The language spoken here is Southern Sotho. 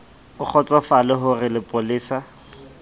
o kgotsofale ho re lepolesa